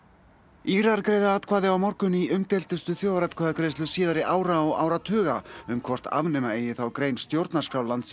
Írar greiða atkvæði á morgun í umdeildustu þjóðaratkvæðagreiðslu síðari ára og áratuga um hvort afnema eigi þá grein stjórnarskrár landins